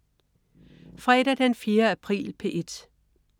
Fredag den 4. april - P1: